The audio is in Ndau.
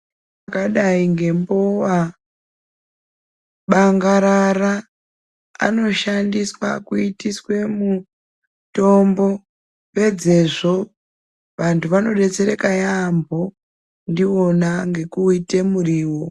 Zvakadai ngembowa bangarara anoshandiswa kuitiswe mutombo pedzezvo vantu vanodetsereka yaamho ndiwona ngekuuite muriwo.